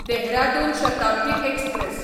Dehradun Shatabdi express